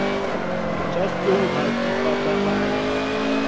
tša tlou ga di pataganywe